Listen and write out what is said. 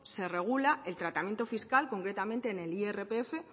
se regula el tratamiento fiscal concretamente en el irpf